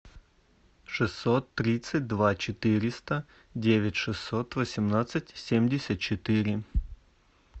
шестьсот тридцать два четыреста девять шестьсот восемнадцать семьдесят четыре